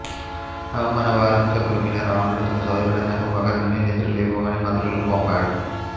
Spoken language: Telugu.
అవమాన భారంతో కృంగిన రావణుడు తన సోదరుడైన కుంభకర్ణుని నిదురలేపమని మంత్రులను పంపాడు